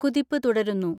കുതിപ്പ് തുടരുന്നു.